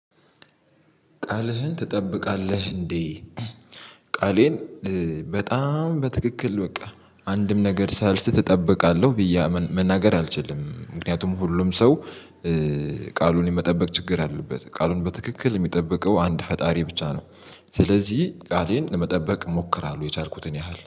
ቃልህን ትጠብቃለህ እንዴ? ቃሌን በጣም በትክክል በቃ አንድም ነገር ሳልስት እጠብቃለህ ብዬ መናገር አልችልም ምክንያቱም ሁሉም ሰው ቃሉን የመጠበቅ ችግር አለበት ቃሉን በትክክል የሚጠብቀው አንድ ፈጣሪ ብቻ ነው። ስለዚህ ቃሌን ለመጠበቅ ሞክራለሁ የቻልኩትን ያህል